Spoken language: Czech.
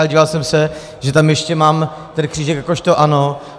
Ale díval jsem se, že tam ještě mám ten křížek jakožto ano.